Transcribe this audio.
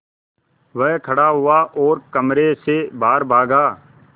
वह खड़ा हुआ और कमरे से बाहर भागा